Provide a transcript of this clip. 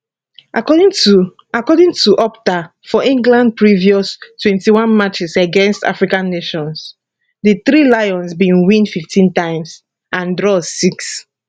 according to according to opta for england previous 21 matches against african nations di three lions bin win 15 times and draw six